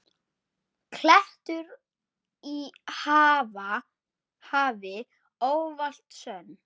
klettur í hafi, ávallt sönn.